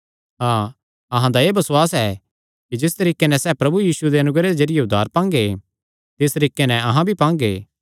हाँ अहां दा एह़ बसुआस ऐ कि जिस तरीके नैं सैह़ प्रभु यीशुये दे अनुग्रह दे जरिये उद्धार पांगे तिस तरीके नैं अहां भी पांगे